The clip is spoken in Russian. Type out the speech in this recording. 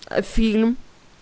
а фильм